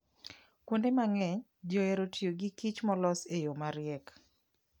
Kuonde mang'eny, ji ohero tiyo gi kich molos e yo mariek.